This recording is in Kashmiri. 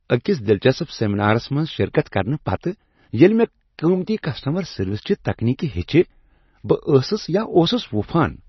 أکس دلچسپ سیمینارَس منٛز شرکت کرنہٕ پتہٕ، ییٚلہ مےٚ قیمتی کسٹٔمَر سروسِ چہ تکنیکہٕ ہیٚچھہٕ، بہٕ ٲسٕس یا اوٗسُس وُپھان